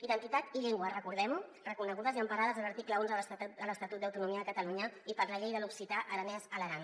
identitat i llengua recordem ho reconegudes i emparades a l’article onze de l’estatut d’autonomia de catalunya i per la llei de l’occità aranès a l’aran